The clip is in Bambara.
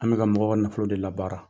An bɛ ka mɔgɔw ka nafolo de labaara.